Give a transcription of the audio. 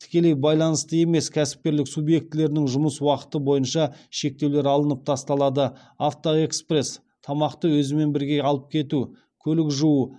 тікелей байланысты емес кәсіпкерлік субъектілерінің жұмыс уақыты бойынша шектеулер алынып тасталады авто экспресс көлік жуу